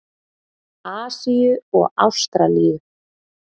Asíu og Ástralíu.